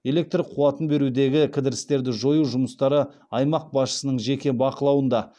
электр қуатын берудегі кідірістерді жою жұмыстары аймақ басшысының жеке бақылауында